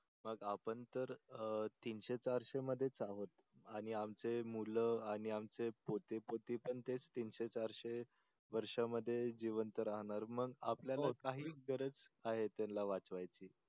मग आपण तर तीनशे चारशे मधेच आहोत आणि आमचे मूल आणि आमचे पोते पोती पण तेच तीनशे चारशे वर्षामध्ये जीवंत राहणार मग आपल्याला काही गरज त्यांला वाचवायची.